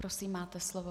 Prosím, máte slovo.